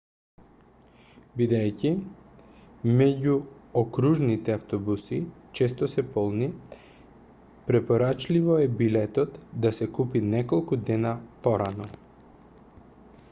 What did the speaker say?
бидејќи меѓуокружните автобуси често се полни препорачливо е билетот да се купи неколку дена порано